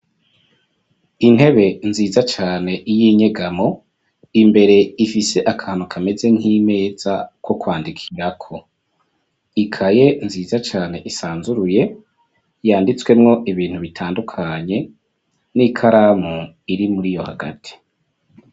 Intebe nziza cane y'inyegamwo, imbere ifise akantu kameze nk'imeza ko kwandikarako. Ikaye nziza cane isanzuruye, yanditswemwo ibintu bitandukanye, n'ikaramu iri muriyo hagati.